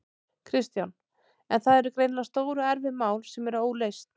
Kristján: En það eru greinilega stór og erfið mál sem eru óleyst?